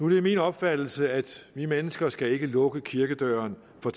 det min opfattelse at vi mennesker ikke skal lukke kirkedøren for